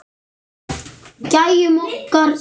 Gæjunum okkar tveim.